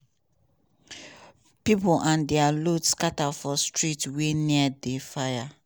pipo and dia load scata for streets wey near di fire.